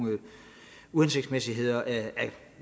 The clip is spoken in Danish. uhensigtsmæssigheder af